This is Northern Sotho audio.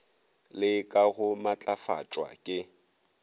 le ka go matlafatšwa ke